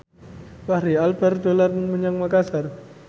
Fachri Albar dolan menyang Makasar